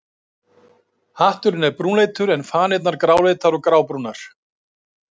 Hatturinn er brúnleitur en fanirnar gráleitar eða grábrúnar.